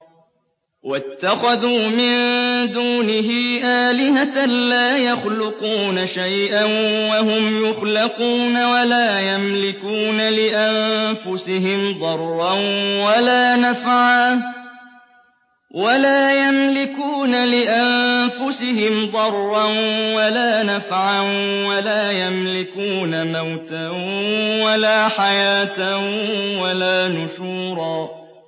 وَاتَّخَذُوا مِن دُونِهِ آلِهَةً لَّا يَخْلُقُونَ شَيْئًا وَهُمْ يُخْلَقُونَ وَلَا يَمْلِكُونَ لِأَنفُسِهِمْ ضَرًّا وَلَا نَفْعًا وَلَا يَمْلِكُونَ مَوْتًا وَلَا حَيَاةً وَلَا نُشُورًا